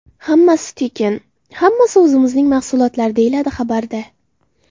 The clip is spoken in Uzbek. Hammasi tekin, hammasi o‘zimizning mahsulotlar”, deyiladi xabarda.